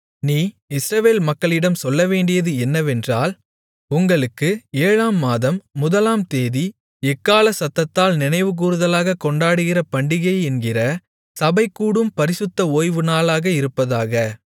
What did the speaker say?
நீ இஸ்ரவேல் மக்களிடம் சொல்லவேண்டியது என்னவென்றால் உங்களுக்கு ஏழாம் மாதம் முதலாம்தேதி எக்காளச்சத்தத்தால் நினைவுகூறுதலாகக் கொண்டாடுகிற பண்டிகை என்கிற சபை கூடும் பரிசுத்த ஓய்வுநாளாக இருப்பதாக